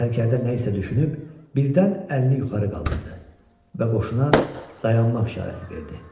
Sərkərdə nə isə düşünüb, birdən əlini yuxarı qaldırdı və qoşuna dayanmaq işarəsi verdi.